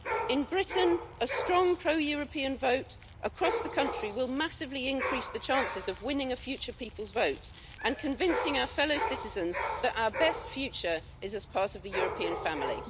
In Britain, a strong pro European vote across the country will massively increase the chances of winning a future people's vote and convincing our fellow citizens that our best future is as part of the European family.